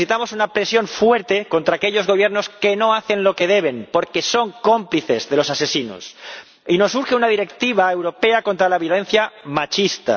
Necesitamos una presión fuerte contra aquellos Gobiernos que no hacen lo que deben, porque son cómplices de los asesinos, y nos urge una directiva europea contra la violencia machista.